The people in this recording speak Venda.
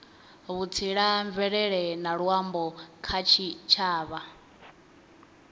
vhutsila mvelele na luambo kha tshitshavha